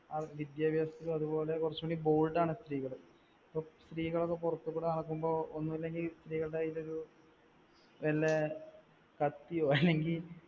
അവർക്ക് വിദ്യാഭ്യാസത്തിലും അതുപോലെ കുറച്ചു കൂടി bold ആണ് സ്ത്രീകള്. സ്ത്രീകളൊക്കെ പുറത്തുകൂടെ നടക്കുമ്പോൾ ഒന്നുഇല്ലെങ്ങിൽ സ്ത്രീകളുടെ കൈയിൽ ഒരു വല്ല കത്തിയോ അല്ലെങ്കിൽ